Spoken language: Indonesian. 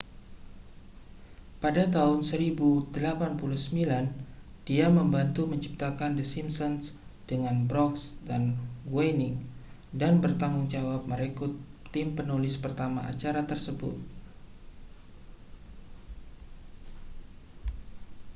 pada tahun 1089 dia membantu menciptakan the simpsons dengan brooks dan groening dan bertanggung jawab merekrut tim penulis pertama acara tersebut